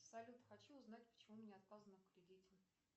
салют хочу узнать почему мне отказано в кредите